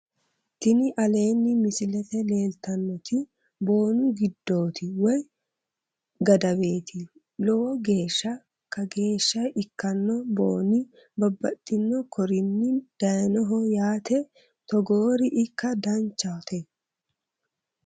tini aleenni misilete leeltannoti boonu giddooti woy gadaweeti lowoho geeshsha kageeshsha ikkanno boooni babbaxino korinni dayinoho yaate togoori ikka danchate